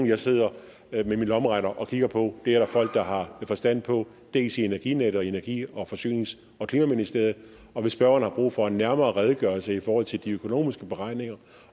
jeg sidder med min lommeregner og kigger på det er der folk der har forstand på dels i energinet dels i energi forsynings og klimaministeriet og hvis spørgeren har brug for en nærmere redegørelse i forhold til de økonomiske beregninger